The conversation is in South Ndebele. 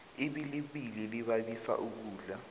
ibilibili libabiso ukudla